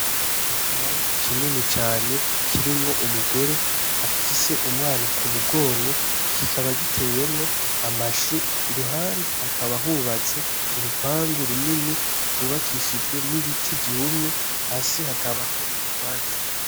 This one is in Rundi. Ikibanza kinini cane kirimwo umugore afise umwana ku mugongo kikaba gitewemwo amashu iruhande hakaba hubatse urupangu runini rwubakishijwe n'ibiti vyumye hasi hakaba hari utwatsi.